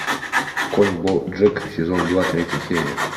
конь боджек сезон два третья серия